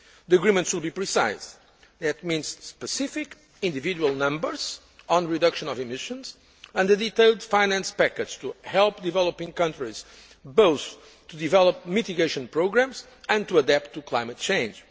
The agreement should be precise. That means specific individual numbers on reduction of emissions and a detailed finance package to help developing countries both to develop mitigation programmes and to adapt to climate change.